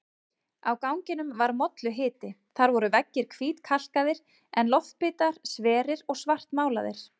Á ganginum var molluhiti, þar voru veggir hvítkalkaðir en loftbitar sverir og svartmálaðir.